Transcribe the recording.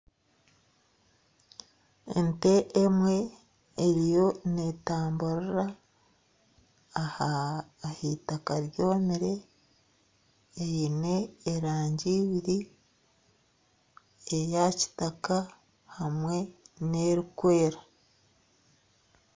Ente emwe eriyo netamburira ah'itaaka ryomire eine erangi ibiri eya kitaka hamwe n'erikwera.